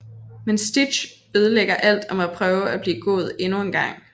Men Stitch ødelægger alt og må prøve at blive god endnu en gang